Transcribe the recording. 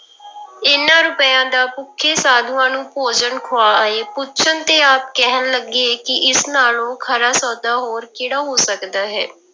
ਇਹਨਾਂ ਰੁਪਇਆਂ ਦਾ ਭੁੱਖੇ ਸਾਧੂਆਂ ਨੂੰ ਭੋਜਨ ਖਵਾ ਆਏ, ਪੁੱਛਣ ਤੇ ਆਪ ਕਹਿਣ ਲੱਗੇ ਕਿ ਇਸ ਨਾਲੋਂ ਖਰਾ ਸੌਦਾ ਹੋਰ ਕਿਹੜਾ ਹੋ ਸਕਦਾ ਹੈ।